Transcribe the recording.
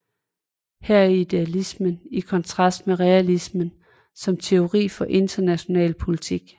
Her er idealismen i kontrast til realisme som teori for international politik